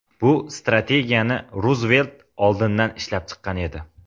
Bu strategiyani Ruzvelt oldindan ishlab chiqqan edi.